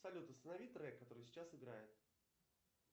салют останови трек который сейчас играет